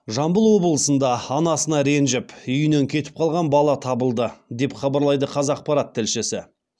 жамбыл облысында анасына ренжіп үйінен кетіп қалған бала табылды деп хабарлайды қазақпарат тілшісі